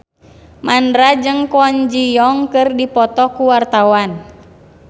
Mandra jeung Kwon Ji Yong keur dipoto ku wartawan